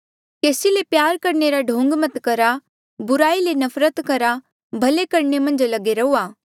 केसी से प्यारा करणे रा ढोंग मत करहा बुराई ले नफरत करहा भले करणे मन्झ लगे रहूआ